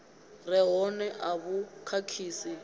re hone a vhu khakhisi